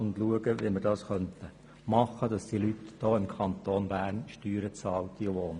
Es soll nach Möglichkeiten gesucht werden, damit die Leute im Kanton Bern wohnen und Steuern zahlen.